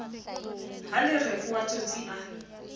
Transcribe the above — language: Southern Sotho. ha lereko wa tsotsi a